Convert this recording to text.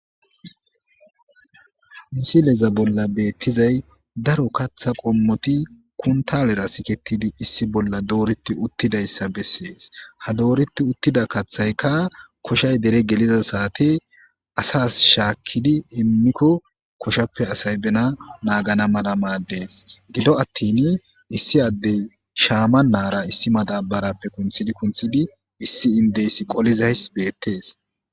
Hamisileza bolla beettizay daro kaththa qommoti kuntalera siketidi issi bolla dooriti uttidayssa bessees ha dooriti uttida kaththaykka koshay dere geliza saate asas shaakkidi immikko koshappe asay bena naagana mala maaddees gido attin issi addey shaama naara issi madabarappe kunthidi kunthidi issi indeys qolizays beettees.